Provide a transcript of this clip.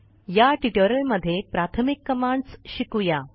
या ट्युटोरियलमध्ये प्राथमिक कमांडस् शिकू या